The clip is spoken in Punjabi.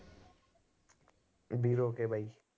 ਕੇ ਬਾਈ